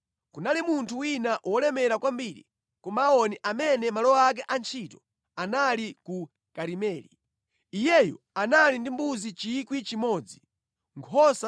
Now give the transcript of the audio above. Kunali munthu wina wolemera kwambiri ku Maoni amene malo ake a ntchito anali ku Karimeli. Iyeyu anali ndi mbuzi 1,000 ndi nkhosa 3,000.